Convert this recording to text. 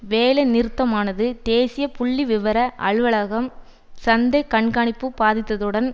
வேலை நிறுத்தமானது தேசிய புள்ளிவிவர அலுவலகம் சந்தை கண்காணிப்பு பாதித்ததுடன்